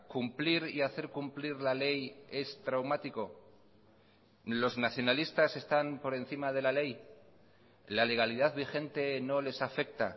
cumplir y hacer cumplir la ley es traumático los nacionalistas están por encima de la ley la legalidad vigente no les afecta